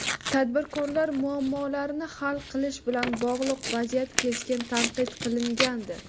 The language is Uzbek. tadbirkorlar muammolarini hal qilish bilan bog‘liq vaziyat keskin tanqid qilingandi.